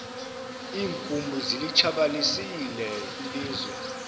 iinkumbi zilitshabalalisile ilizwe